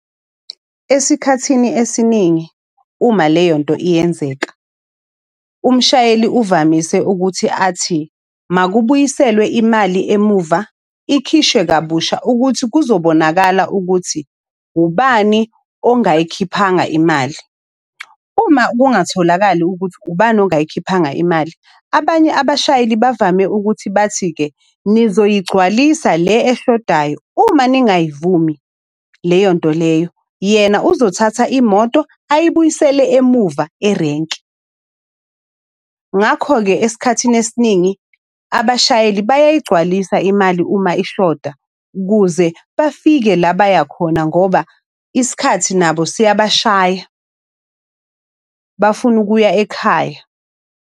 Esikhathini esiningi uma leyo nto iyenzeka, umshayeli uvamise ukuthi athi makubuyiselwe imali emuva, ikhishwe kabusha ukuthi kuzobonakala ukuthi ubani ongayikhiphanga imali. Uma kungatholakali ukuthi ubani ongayikhiphanga imali, abanye abashayeli bavame ukuthi bathi-ke nizoyigcwalisa le eshodayo, uma ningayivumi leyo nto leyo, yena uzothatha imoto ayibuyisele emuva erenki. Ngakho-ke esikhathini esiningi abashayeli bayayigcwalisa imali uma ishoda, ukuze bafike la baya khona ngoba isikhathi nabo siyabashaya. Bafuna ukuya ekhaya.